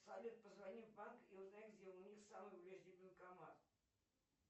салют позвони в банк и узнай где у них самый ближний банкомат